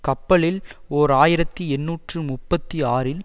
கப்பலில் ஓர் ஆயிரத்தி எண்ணூற்று முப்பத்தி ஆறில்